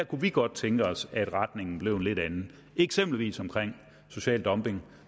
kunne vi godt tænke os at retningen blev en lidt anden eksempelvis omkring social dumping